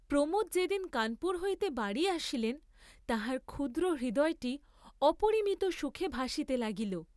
প্রমোদ যে দিন কানপুর হইতে বাড়ী আসিলেন, তাহার ক্ষুদ্র হৃদয়টি অপরিমিত সুখে ভাসিতে লাগিল।